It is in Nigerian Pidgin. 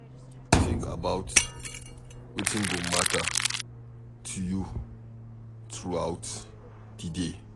Think about wetin go matter to you throughout di day